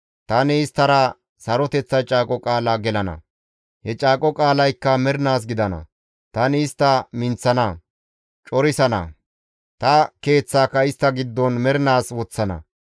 Tani isttara Saroteththa caaqo qaala gelana; he caaqo qaalaykka mernaas gidana. Tani istta minththana; corissana; ta Keeththaaka istta giddon mernaas woththana.